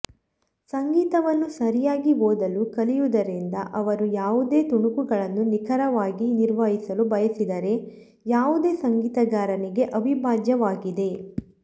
ಸಂಗೀತವನ್ನು ಸರಿಯಾಗಿ ಓದಲು ಕಲಿಯುವುದರಿಂದ ಅವರು ಯಾವುದೇ ತುಣುಕುಗಳನ್ನು ನಿಖರವಾಗಿ ನಿರ್ವಹಿಸಲು ಬಯಸಿದರೆ ಯಾವುದೇ ಸಂಗೀತಗಾರನಿಗೆ ಅವಿಭಾಜ್ಯವಾಗಿದೆ